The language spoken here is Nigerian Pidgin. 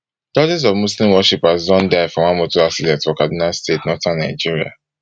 dozens of muslim worshippers don die for one motor accident for kaduna state northern nigeria